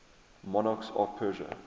monarchs of persia